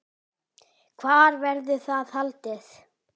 Hvar verður það haldið?